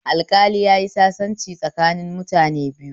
Alƙali yayi sasanci tsakanin mutane biyu